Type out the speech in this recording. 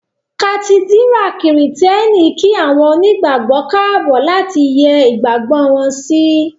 Kàtídírà kìrììtẹ́nì kí àwọn onígbàgbọ́ káàbọ̀ láti yẹ́ ìgbàgbọ́ wọn sí